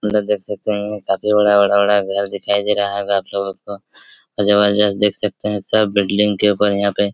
अंदर देख सकते है काफी बड़ा-बड़ा-बड़ा घर दिखाई दे रहा होगा आपलोग जबरजस्त देख सकते है सब बिल्डिंग के ऊपर यहाँ पे--